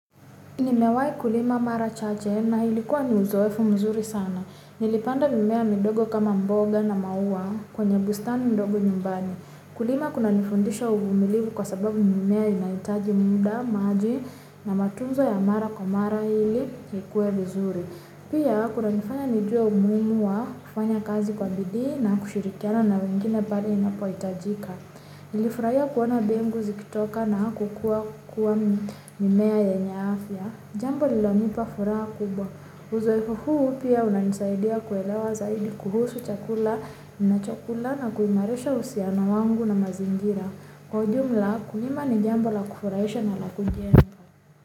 Nimewahi kulima mara chache na ilikuwa ni uzoefu mzuri sana. Nilipanda mimea midogo kama mboga na maua kwenye bustani ndogo nyumbani. Kulima kunanifundisha uvumilivu kwa sababu mimea inahitaji muda, maji na matunzo ya mara kwa mara hili ikuwe vizuri. Pia kunanifanya nijue umuhimu wa kufanya kazi kwa bidii na kushirikiana na wengine pale ninapohitajika. Nilifurahia kuona mbegu zikitoka na kukua mimea yenye afya. Jambo lililonipa furaha kubwa. Uzoefu huu pia unanisaidia kuelewa zaidi kuhusu chakula ninachokula na kuimarisha uhusiano wangu na mazingira. Kwa ujumla ukulima ni jambo la kufurahisha na la kujenga.